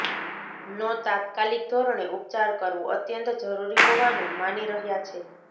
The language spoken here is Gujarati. નો તાત્કાલીક ધોરણે ઉપચાર કરવો અત્યંત જરૃરી હોવાનુ માની રહ્યા છે